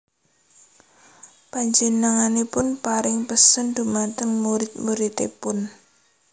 Panjenenganipun paring pesen dhumateng murid muridipun